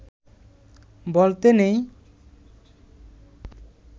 বলতে নেই